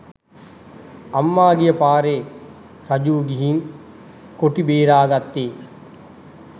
අම්මා ගිය පාරේ රජීවු ගිහින් කොටි බේර ගත්තේ.